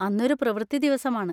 അന്നൊരു പ്രവൃത്തി ദിവസമാണ്.